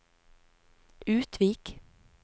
Utvik